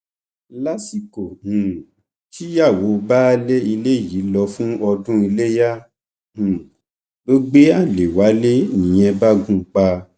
lásìkò um tíyàwó baálé ilé yìí lọ fún ọdún iléyà um ló gbé alẹ wálé nìyẹn bá gùn ún pa